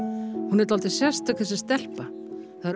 hún er dálítið sérstök þessi stelpa það er